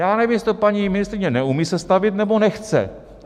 Já nevím, jestli to paní ministryně neumí sestavit, nebo nechce.